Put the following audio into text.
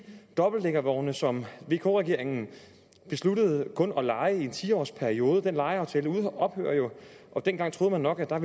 dobbeltdækkervogne som vk regeringen besluttede kun at leje i en ti års periode den lejeaftale ophører jo dengang troede man nok at